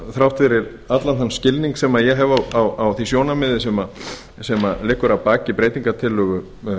þrátt fyrir allan þann skilning sem ég hef á því sjónarmiði sem liggur að baki breytingartillögu